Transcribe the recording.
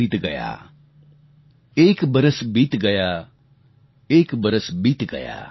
एक बरस बीत गया